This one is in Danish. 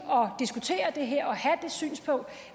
at diskutere det her og have det synspunkt